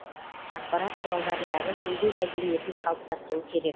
ақпарат құралдарындағы сөйлеу мәдениетін қалыптастыру керек